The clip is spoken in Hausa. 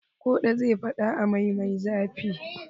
Kuɗa zai faɗa a mai me zafi.